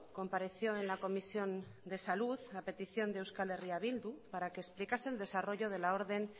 compareció en la comisión de salud a petición de euskal herria bildu para que explicase el desarrollo de la orden